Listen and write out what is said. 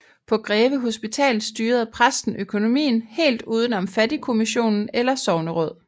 På Greve Hospital styrede præsten økonomien helt udenom fattigkommission eller sogneråd